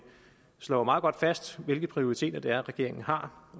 slår meget godt fast hvilke prioriteter regeringen har